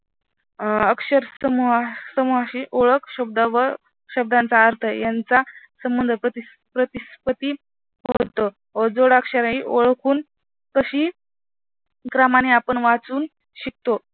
अक्षर समूहाची ओळख शब्द व शब्दांचा अर्थ यांचा संबंध प्रतिस्पती होतं व जोडाक्षरे ही ओळख होऊन तशी क्रमाने आपण वाचून शिकतो.